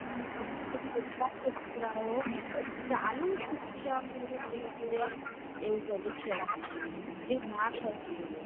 કેળું શિક્ષણ એ લોકો એ એવું કર્યું છે જે ના કરવું જોઈએ.